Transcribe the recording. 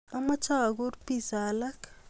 Amache akur pizza alak